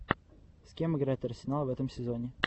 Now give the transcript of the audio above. с кем играет арсенал в этом сезоне